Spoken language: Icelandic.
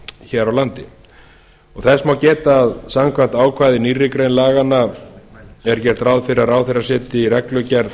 hér á landi þess má geta að samkvæmt ákvæði í nýrri grein laganna er gert ráð fyrir að ráðherra setji í reglugerð